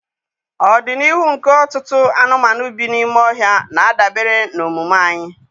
Ọdịnihu nke ọtụtụ anụmanụ bi n'ime ọhịa na-adabere na omume anyị.